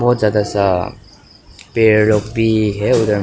बहुत ज्यादा सा पेड़ लोग भी है उधर में।